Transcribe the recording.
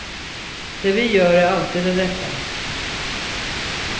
Det vi gör är alltid det rätta.